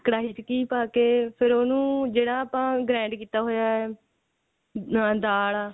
ਕੜਾਹੀ ਚ ਘੀ ਪਾਕੇ ਫੇਰ ਉਹਨੂੰ ਜਿਹੜਾ ਆਪਾਂ grand ਕੀਤਾ ਹੋਇਆ ਅਹ ਦਾਲ